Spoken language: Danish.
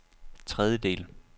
tredjedel